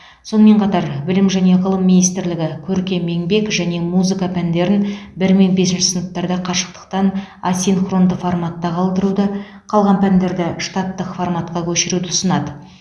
сонымен қатар білім және ғылым министрлігі көркем еңбек және музыка пәндерін бір мен бесінші сыныптарда қашықтан асинхронды форматта қалдыруды қалған пәндерді штаттық форматқа көшіруді ұсынады